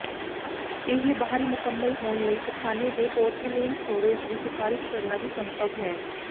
ਇਹ ਬਾਹਰੀ ਮੁਕੰਮਲ ਹੋਣ ਲਈ ਪਖਾਨੇ ਦੇ ਪੋਰਸਿਲੇਨ ਸਟੋਰੇਜ਼ ਦੀ ਸਿਫਾਰਸ਼ ਕਰਨਾ ਵੀ ਸੰਭਵ ਹੈ